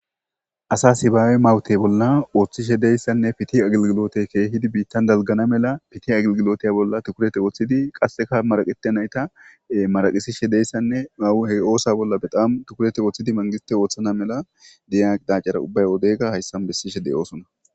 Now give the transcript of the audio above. asa sibaawe mawutey bolla ooththishe deyssanne piti agilgilote keehidi biittan dalgana mela piti agilgiloteya bolla tukurete ooththidi qasseka maraqete nayta maraqisishe deyssanne mawuhe oosa bolla bedamu tukurete ooththidi mangiste ooththana mela diya qidacara ubbay odeyga hayssan bessishe de7oosuna